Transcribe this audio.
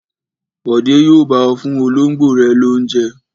Bọ̀dé yóò bá ọ fún olóńgbò rẹ lóúnjẹ.